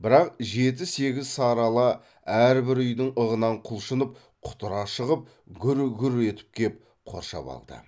бірақ жеті сегіз сарыала әрбір үйдің ығынан құлшынып құтыра шығып гүр гүр етіп кеп қоршап алды